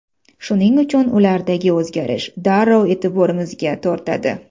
Shuning uchun ulardagi o‘zgarish darrov e’tiborimizni tortadi.